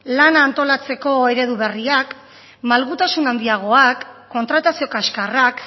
lana antolatzeko eredu berriak malgutasun handiagoak kontratazio kaskarrak